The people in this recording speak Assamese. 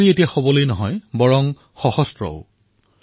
নাৰী সশক্ত হোৱাৰ লগতে সশস্ত্ৰও হৈছে